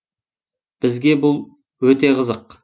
бізге бұл ел өте қызық